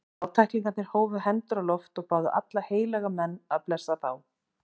Fátæklingarnir hófu hendur á loft og báðu alla heilaga menn að blessa þá.